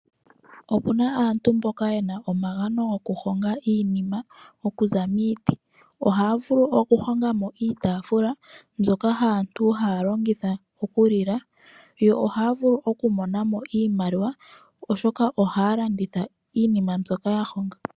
Okuna aantu mboka yena omagano gokuhonga iinima okuza miiti. Ohaya vulu okuhongamo iitaafula mbyoka aantu haya longitha okulila. Yo ohaya vulu okumonamo iimaliwa oshoka ohaya landitha iinima mbyoka yahongwa.